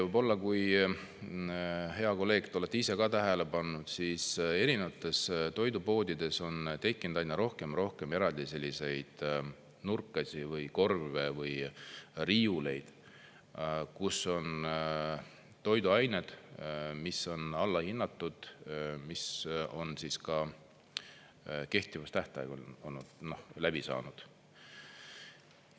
Võib-olla, hea kolleeg, te olete ise ka tähele pannud, siis erinevates toidupoodides on tekkinud aina rohkem ja rohkem eraldi selliseid nurkasid või korve või riiuleid, kus on toiduained, mis on alla hinnatud, millel on kehtivustähtaeg läbi saanud.